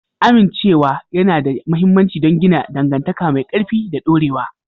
Amincewa yana da mahimmanci don gina dangantaka mai ƙarfi da dorewa.